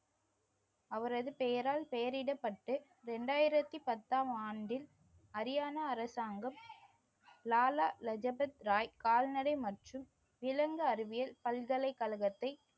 அவரது பெயரால் பெயரிடப்பட்டு இரண்டாயிரத்தி பத்தாம் ஆண்டில் ஹரியானா அரசாங்கம் லாலா லஜபத் ராய் கால்நடை மற்றும் விலங்கு அறிவியல் பல்கலைக்கழகத்தை